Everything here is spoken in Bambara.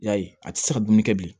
Yali a tɛ se ka dumuni kɛ bi